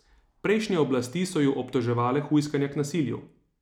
Prejšnje oblasti so ju obtoževale hujskanja k nasilju.